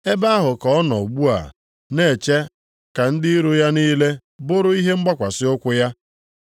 Ebe ahụ ka ọ nọ ugbu a na-eche ka ndị iro ya niile bụrụ ihe mgbakwasị ụkwụ ya.